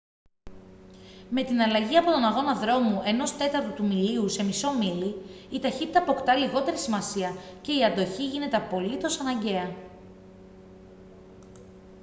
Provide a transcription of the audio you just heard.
με την αλλαγή από τον αγώνα δρόμου ενός τέταρτου του μιλίου σε μισό μίλι η ταχύτητα αποκτά λιγότερη σημασία και η αντοχή γίνεται απολύτως αναγκαία